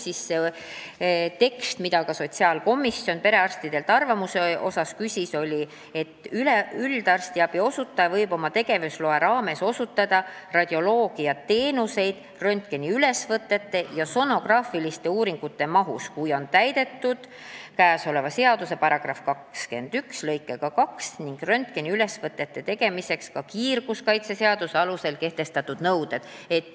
See tekst, mille kohta sotsiaalkomisjon perearstidelt arvamust küsis, oli selline: "Üldarstiabi osutaja võib oma tegevusloa raames osutada radioloogiateenuseid röntgeniülesvõtete ja sonograafiliste uuringute mahus, kui on täidetud käesoleva seaduse § 21 lõike 2 ning röntgeniülesvõtete tegemiseks ka kiirgusseaduse alusel kehtestatud nõuded.